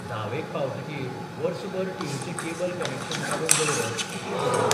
धावेक पावतकीर बर्सभर टीव्हीचें केबल कनेक्शन काडून दवरप कितलें समा?